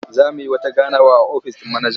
Za mu yi wata ganawa a ofis ɗin manaja.